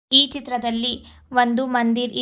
ಈ ಚಿತ್ರದಲ್ಲಿ ಒಂದು ಮಂದಿರ್ ಇದ್--